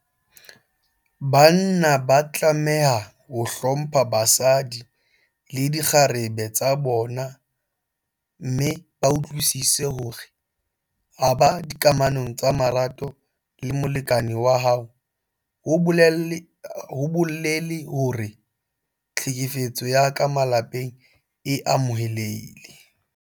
Banna ba tlameha ho hlompha basadi le dikgarebe tsa bona mme ba utlwisise hore ho ba dikamanong tsa marato le molekane wa hao ha ho bolele hore tlhekefetso ya ka malapeng e amohelehile.